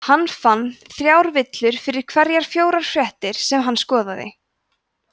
hann fann þrjár villur fyrir hverjar fjórar fréttir sem hann skoðaði